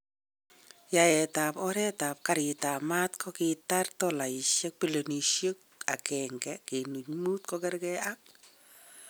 Yaet tab oret tab garit ab maat kokitar dolaishek bilionishek 1.5 kokerke ak